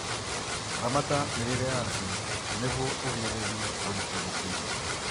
Ramata mĩrĩre yacio nĩguo ũgirĩrĩrie ũritũ mũkĩru